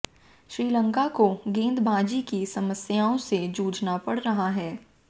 श्रीलंका को गेंदबाजी की समस्याओं से जूझना पड़ रहा है